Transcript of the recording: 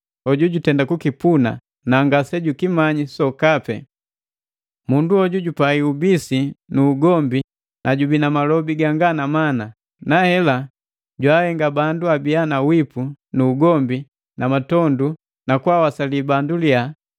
hoju jutenda kukipuna na ngasejukimanyi sokapi. Mundu hoju jupai ubisi nu ugombi na jojubii na malobi ganga na mana, nahela jwaahenga bandu abia na wipi nu ugombi na matondu na kwaawasali bandu liya,